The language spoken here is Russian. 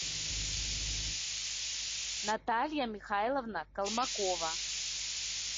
наталья михайловна колмакова